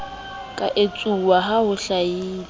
ka etsuwa ha ho hlahile